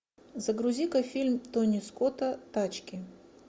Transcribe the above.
загрузи ка фильм тони скотта тачки